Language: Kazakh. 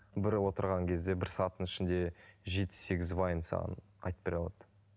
бір отырған кезде бір сағаттың ішінде жеті сегіз вайн саған айтып бере алады